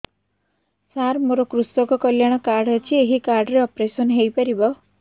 ସାର ମୋର କୃଷକ କଲ୍ୟାଣ କାର୍ଡ ଅଛି ଏହି କାର୍ଡ ରେ ଅପେରସନ ହେଇପାରିବ